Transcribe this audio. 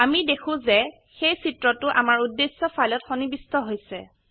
আমি দেখো যে সেই চিত্ৰটো আমাৰ উদ্দেশ্য ফাইলত সন্নিবিষ্ট হৈছে